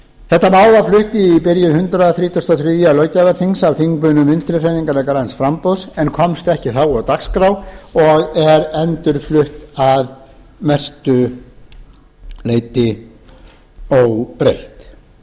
þetta mál var flutt í byrjun hundrað þrítugasta og þriðja löggjafarþings af þingmönnum vinstri hreyfingarinnar græns framboðs en komst ekki á dagskrá og er endurflutt að mestu óbreytt